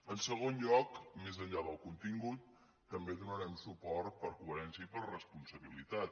en segon lloc més enllà del contingut també hi donarem suport per coherència i per responsabilitat